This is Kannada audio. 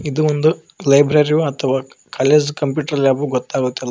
ಇದು ಒಂದು ಲೈಬ್ರರಿಯೊ ಅಥವಾ ಕಾಲೇಜ್ ಕಂಪ್ಯೂಟರ್ ಲ್ಯಾಬು ಗೊತ್ತಾಗುತ್ತಿಲ್ಲ.